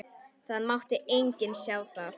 Það mátti enginn sjá það.